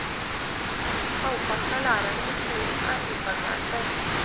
Halvparten av lærerne ved skolen er ufaglærte.